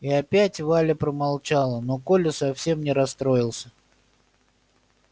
и опять валя промолчала но коля совсем не расстроился